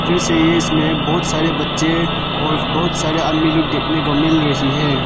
फिर से ये इसमें बहुत सारे बच्चे और बहोत सारे आदमी लोग देखने को मिल रही है।